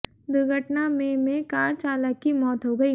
दुर्घटना में में कार चालक की मौत हो गई